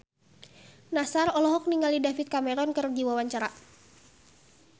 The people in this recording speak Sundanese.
Nassar olohok ningali David Cameron keur diwawancara